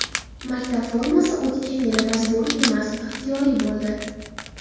Maktab formasi o‘tgan yili majburiy emas, ixtiyoriy bo‘ldi.